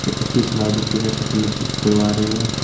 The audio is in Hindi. उची स्माइलिंग की जाती करवा रहे है ।